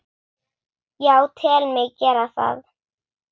Já, tel mig gera það.